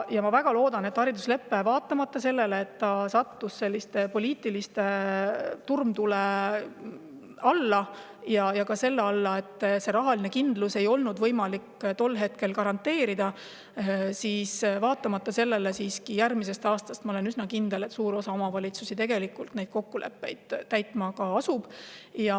Ma olen üsna kindel, et vaatamata sellele, et hariduslepe sattus poliitilise turmtule alla ja rahalist kindlust tol hetkel polnud võimalik garanteerida, asub suur osa omavalitsusi järgmisest aastast neid kokkuleppeid täitma.